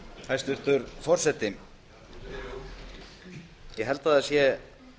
hæstvirtur forseti ég held að það sé